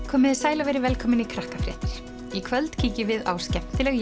komiði sæl og verið velkomin í Krakkafréttir í kvöld kíkjum á skemmtileg